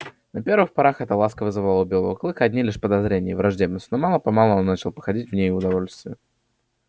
на первых порах эта ласка вызывала у белого клыка одни лишь подозрения и враждебность но мало помалу он начал находить в ней удовольствие